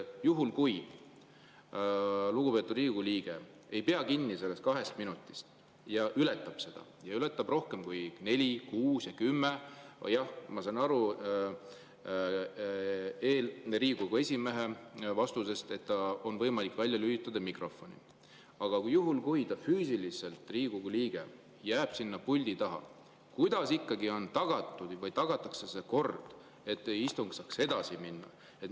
Juhul kui lugupeetud Riigikogu liige ei pea kinni sellest kahest minutist ja ületab seda, ületab neli, kuus või kümme minutit – ma sain Riigikogu esimehe vastusest aru, et on võimalik mikrofon välja lülitada, aga kui Riigikogu liige jääb füüsiliselt sinna puldi taha –, kuidas ikkagi on tagatud või tagatakse see kord, et istung saaks edasi minna?